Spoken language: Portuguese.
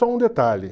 Só um detalhe.